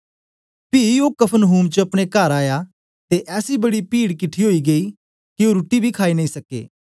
पी ओ कफरनहूम च अपने कार आया ते ऐसी बड़ी पीड किठी ओई गेई के ओ रुट्टी बी खाई नेई सके